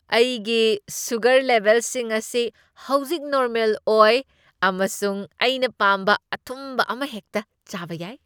ꯑꯩꯒꯤ ꯁꯨꯒꯔ ꯂꯦꯚꯦꯜꯁꯤꯡ ꯑꯁꯤ ꯍꯧꯖꯤꯛ ꯅꯣꯔꯃꯦꯜ ꯑꯣꯏ ꯑꯃꯁꯨꯡ ꯑꯩꯅ ꯄꯥꯝꯕ ꯑꯊꯨꯝꯕ ꯑꯃꯍꯦꯛꯇ ꯆꯥꯕ ꯌꯥꯏ꯫